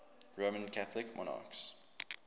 roman catholic monarchs